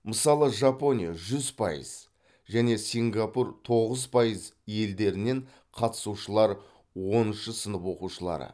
мысалы жапония жүз пайыз және сингапур тоғыз пайыз елдерінен қатысушылар оныншы сынып оқушылары